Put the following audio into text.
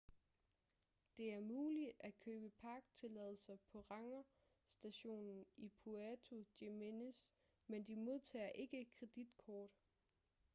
det er muligt at købe parktilladelser på rangerstationen i puerto jiménez men de modtager ikke kreditkort